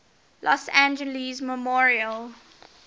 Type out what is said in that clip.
los angeles memorial